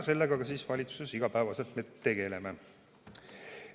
Sellega me ka valitsuses igapäevaselt tegeleme.